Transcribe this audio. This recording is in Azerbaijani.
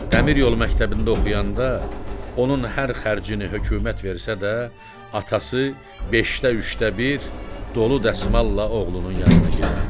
Dəmiryolu məktəbində oxuyanda onun hər xərcini hökumət versə də, atası beşdə üçdə bir dolu dəsmalla oğlunun yanına gedərdi.